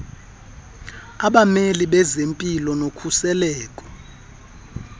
abameli bezempilo nokhuseleko